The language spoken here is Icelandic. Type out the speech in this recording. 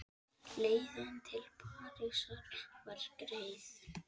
Leiðin til Parísar var greið.